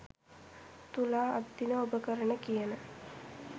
තුලා අද දින ඔබ කරන කියන